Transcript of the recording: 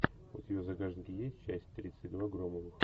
у тебя в загашнике есть часть тридцать два громовых